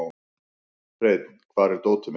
Hreinn, hvar er dótið mitt?